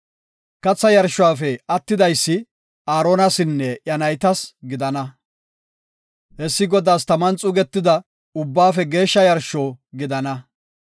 Katha yarshuwafe attidaysi Aaronasinne iya naytas gidana. Hessi Godaas taman xuugetida ubbaafe geeshsha yarsho gidana.